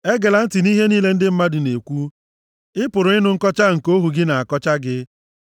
Egela ntị nʼihe niile ndị mmadụ na-ekwu, ị pụrụ ịnụ nkọcha nke ohu gị na-akọcha gị.